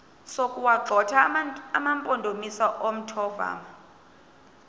sokuwagxotha amampondomise omthonvama